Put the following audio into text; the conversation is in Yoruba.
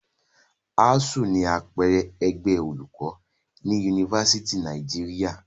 ASSU ni àpẹẹrẹ ẹgbẹ́ olùkọ́ ní Yunifásítì Nàìjíríà.